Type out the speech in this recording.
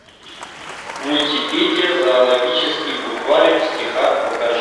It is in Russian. мультипедия зоологический букварик в стихах покажи